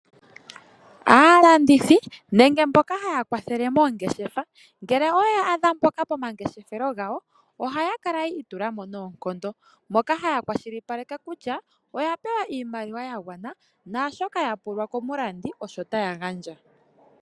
Aalandithi nenge aantu mboka haya kwathele poongeshefa ngele owe ya adha pomangeshefelo gawo ohaa kala yi itulamo noonkondo. Ohaa kwashilipaleke kutya oya pewa iimaliwa ya gwana nashoka taya pulwa komulandi osho taya gandja.